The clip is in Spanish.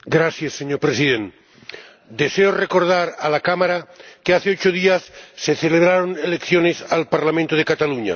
Señor Presidente, deseo recordar a la Cámara que hace ocho días se celebraron elecciones al Parlamento de Cataluña.